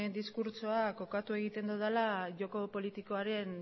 diskurtsoa kokatu egiten dudala joko politikoaren